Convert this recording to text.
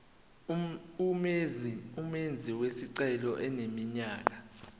umenzi wesicelo eneminyaka